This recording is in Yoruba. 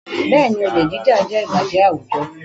Bẹ́ẹ̀ni, olè jíjà jẹ́ ìbàjẹ́ àwùjọ